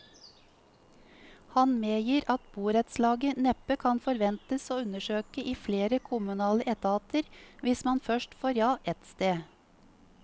Han medgir at borettslaget neppe kan forventes å undersøke i flere kommunale etater hvis man først får ja ett sted.